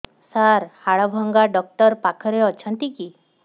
ସାର ହାଡଭଙ୍ଗା ଡକ୍ଟର ପାଖରେ ଅଛନ୍ତି କି